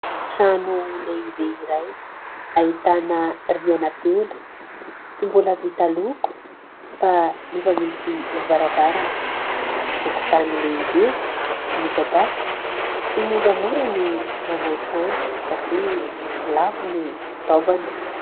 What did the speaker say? Trano lehibe iray, ahitana rihana telo ; tsy mbola vita loko fa efa misy varavarana ; tokotany lehibe midadasika. Tsy moramora ny manao trano satria lafo ny fitaovana.